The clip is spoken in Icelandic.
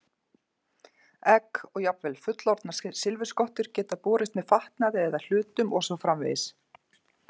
Egg og jafnvel fullorðnar silfurskottur geta borist með fatnaði eða hlutum og svo framvegis.